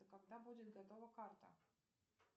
когда будет готова карта